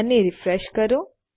અને રીફ્રેશ કરો